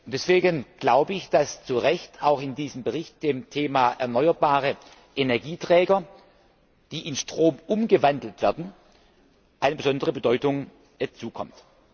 Deswegen glaube ich, dass zu Recht auch in diesem Bericht dem Thema erneuerbare Energieträger, die in Strom umgewandelt werden, eine besondere Bedeutung zukommt.